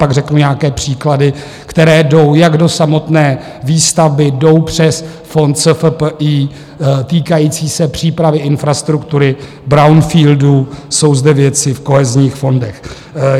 Pak řeknu nějaké příklady, které jdou jak do samotné výstavby, jdou přes fond SFPI týkající se přípravy infrastruktury, brownfieldů, jsou zde věci v kohezních fondech.